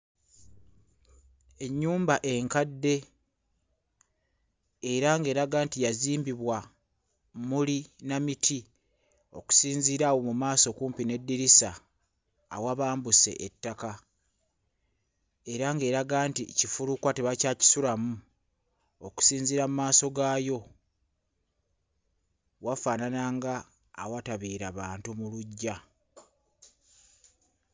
Ennyumba enkadde era ng'eraga nti yazimbibwa mmuli na miti okusinziira awo mu maaso kumpi n'eddirisa awabambuse ettaka era ng'eraga nti kifulukwa tebakyakisulamu okusinziira mmaaso gaayo wafaanana nga awatabeera bantu mu luggya.